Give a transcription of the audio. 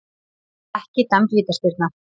Ekki dæmd vítaspyrna